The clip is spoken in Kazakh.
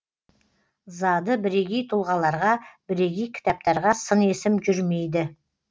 зады бірегей тұлғаларға бірегей кітаптарға сын есім жүрмейді